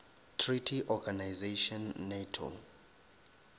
treaty organization nato